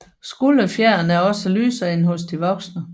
Skulderfjerene er også lysere end hos de voksne